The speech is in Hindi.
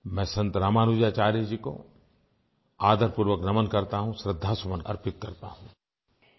मैं संत रामानुजाचार्य जी को आदर पूर्वक नमन करता हूँ श्रृद्धासुमन अर्पित करता हूँ